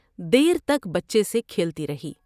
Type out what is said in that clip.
دیر تک بچے سے کھیلتی رہی ۔